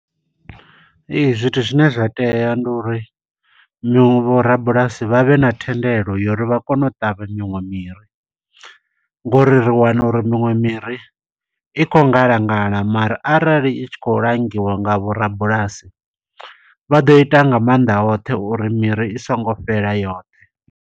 Ee, zwithu zwine zwa tea ndi uri miṅwe vho rabulasi vhavhe na thendelo ya uri vha kone u ṱavha miṅwe miri, Ngo uri ri wana uri miṅwe miri, i khou ngala ngala mara arali i tshi khou langiwa nga vho rabulasi, vha ḓo ita nga maanḓa oṱhe uri miri i songo fhela yoṱhe.